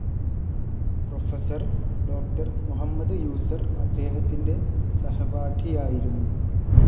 Professor, ഡോ. മുഹമ്മദ് യൂസർ അദ്ദേഹത്തിൻ്റെ സഹപാഠിയായിരുന്നു.